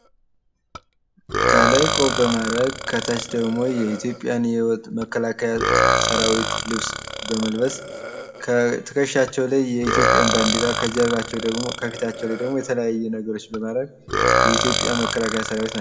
ከላይ ቆብ በማድረግ ከታች ደሞ የኢትዮጵያን የመከላከያ ራዊት ልብስ በመልበስ ከትከሻቸው ላይ የኢትዮጵያን ባዲራ ከፊታቸው ደሞ የተለያዩ ነገሮችን በማድረግ የኢትዮጵያ መከላከያ ሰራዊት ናቸው።